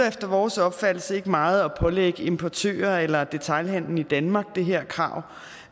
efter vores opfattelse ikke meget at pålægge importører eller detailhandlen i danmark det her krav